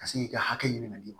Ka se k'i ka hakɛ ɲini ka d'i ma